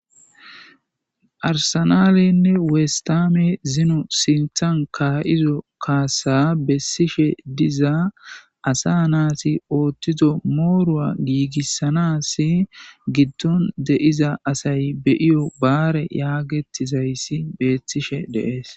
arsanalenne weesttame ziino sinththan ka'iiizo kassa bessishshe diza asa naasi ooththizo mooruwa giigissanasi giddon deyiza asay be'iyo baare yaagettizayssi beetishshe de'ees